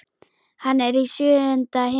Hann er í sjöunda himni.